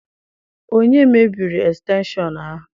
Onye mebiri estenshọn ahụ?